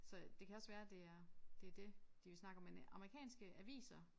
Så det kan også være det er det det de vil snakke om men øh amerikanske aviser